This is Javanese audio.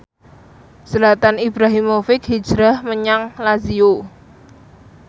Zlatan Ibrahimovic hijrah menyang Lazio